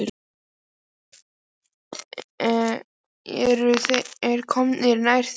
Gunnar: Eru þeir komnir nær því?